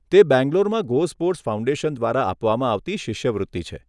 તે બેંગ્લોરમાં GoSports foundation દ્વારા આપવામાં આવતી શિષ્યવૃત્તિ છે.